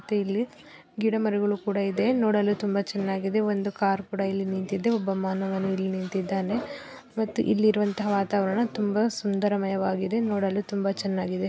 ಮತ್ತೆ ಇಲ್ಲಿ ಗಿಡ ಮರಗಳು ಕೂಡಯಿದೆ ನೋಡಲು ತುಂಬಾ ಚನ್ನಾಗಿದೆ. ಒಂದು ಕಾರ್ ಕೂಡ ಇಲ್ಲಿ ನಿಂತಿದೆ. ಒಬ್ಬ ಮಾನವ ಇಲ್ಲಿ ನಿಂತಿದ್ದಾನೆ ಮತ್ತು ಇಲ್ಲಿಇರುವಂತಹ ವಾತಾವರ್ಣ ತುಂಬಾ ಸುಂದರಮಯವಾಗಿದೆ. ನೋಡಲು ತುಂಬಾ ಚನ್ನಾಗಿದೆ.